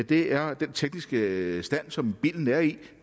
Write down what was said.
det er den tekniske stand som bilen er i